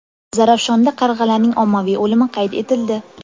Zarafshonda qarg‘alarning ommaviy o‘limi qayd etildi.